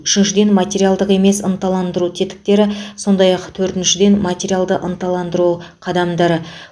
үшіншіден материалдық емес ынталандыру тетіктері сондай ақ төртіншіден материалды ынталандыру қадамдары